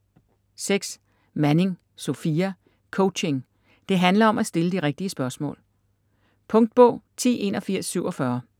Manning, Sofia: Coaching: det handler om at stille de rigtige spørgsmål Punktbog 108147